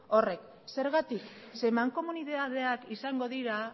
horrek zergatik zeren mankomunitateak izango dira